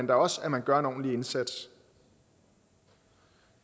da også at man gør en ordentlig indsats